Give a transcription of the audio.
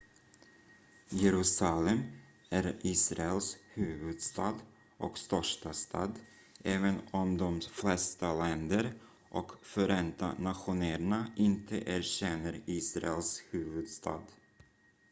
jerusalem är israels huvudstad och största stad även om de flesta länder och förenta nationerna inte erkänner israels huvudstad